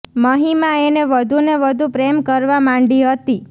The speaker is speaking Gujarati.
મહિમા એને વધુ ને વધુ પ્રેમ કરવા માંડી હતી